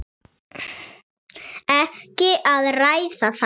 Ekki að ræða það!